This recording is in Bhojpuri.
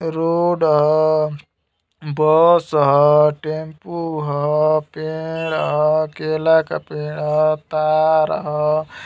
रोड ह। बस ह। टेम्पु ह। पेड़ ह। केला का पेड़ ह। तार ह।